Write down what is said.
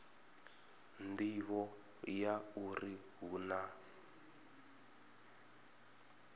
nḓivho ya uri hu na